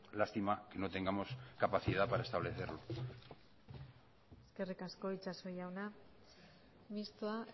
lástima que no tengamos capacidad para establecerlo eskerrik asko itxaso jauna mistoa